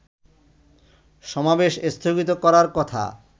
সমাবেশ স্থগিত করার কথা